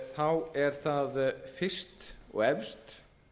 þá er það fyrst og efst